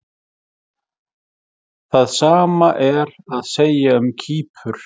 Það sama er að segja um Kýpur.